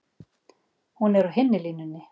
Hún er á hinni línunni.